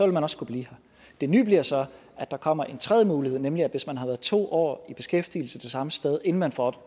man også kunne blive her det nye bliver så at der kommer en tredje mulighed nemlig at hvis man har været to år i beskæftigelse samme sted inden man får